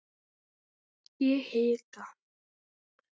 Ég hika.